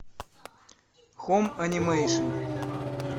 хоум анимейшн